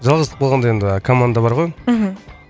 жалғыздық болғанда енді команда бар ғой мхм